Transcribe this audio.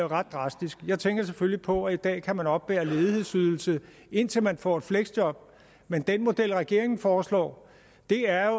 ret drastisk jeg tænker selvfølgelig på at man i dag kan man oppebære ledighedsydelse indtil man får et fleksjob men den model regeringen foreslår er